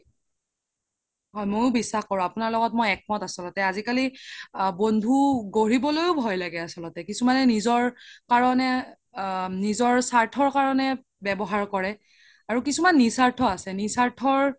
হয় মইও বিশ্বাস কৰো আপোনাৰ লগত মই একমত আচল্তে আজিকালি বন্ধু গঢ়িবলৈও ভই লাগে আচ্ল্তে কিছুমানে নিজৰ কাৰনে নিজৰ সাৰ্থৰ কাৰনে ৱ্যাবহাৰ কৰে আৰু কিছুমানে নিসাৰ্থ আছে নিসাৰ্থৰ